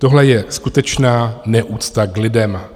Tohle je skutečná neúcta k lidem.